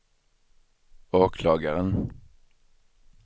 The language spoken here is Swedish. åklagaren